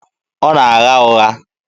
Ọ na-agha ụgha.